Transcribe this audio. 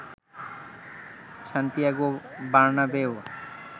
Santiago বার্নাবেউয়ে